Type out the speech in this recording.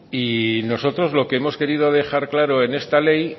y nosotros lo que hemos querido dejar claro en esta ley